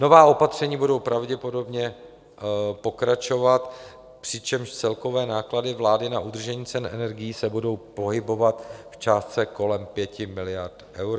Nová opatření budou pravděpodobně pokračovat, přičemž celkové náklady vlády na udržení cen energií se budou pohybovat v částce kolem 5 miliard eur.